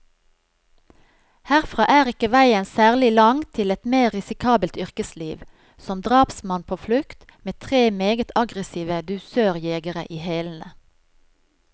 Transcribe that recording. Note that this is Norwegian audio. Herfra er ikke veien særlig lang til et mer risikabelt yrkesliv, som drapsmann på flukt, med tre meget aggressive dusørjegere i hælene.